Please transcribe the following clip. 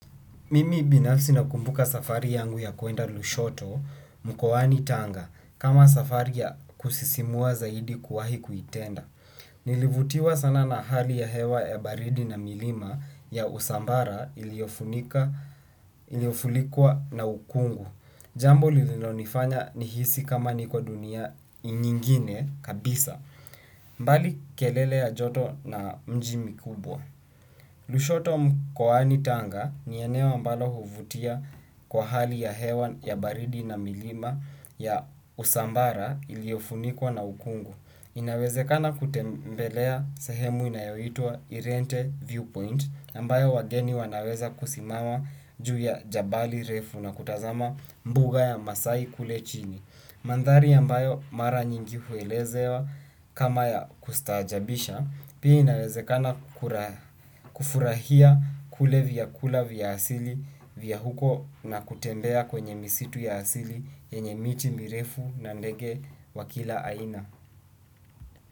Mimi binafsi nakumbuka safari yangu ya kuenda Lushoto, mkoani tanga, kama safari ya kusisimua zaidi kuwahi kuitenda. Nilivutiwa sana na hali ya hewa ya baridi na milima ya usambara iliofunikwa na ukungu. Jambo lilinonifanya nihisi kama niko dunia nyingine kabisa. Mbali kelele ya joto na mji mikubwa. Lushoto mkoani tanga ni eneo ambalo huvutia kwa hali ya hewa ya baridi na milima ya usambara iliyofunikwa na ukungu. Inawezekana kutembelea sehemu inayoitwa irente viewpoint ambayo wageni wanaweza kusimama juu ya jabali refu na kutazama mbuga ya maasai kule chini. Mandhari ambayo mara nyingi huelezewa kama ya kustaajabisha pia inawezekana kufurahia kule vyakula vya asili vya huko na kutembea kwenye misitu ya asili yenye miti mirefu na ndege wa kila aina.